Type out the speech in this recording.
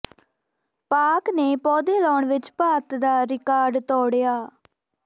ਪਾਕਿ ਨੇ ਪੌਦੇ ਲਾਉਣ ਵਿਚ ਭਾਰਤ ਦਾ ਰਿਕਾਰਡ ਤੋੜਿਆ